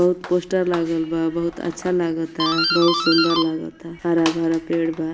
बहुत पोस्टर लागल बा बहुत अच्छा लागता बहुत सुंदर लागता हरा-भरा पेड़ बा।